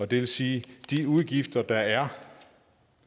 det vil sige at de udgifter der er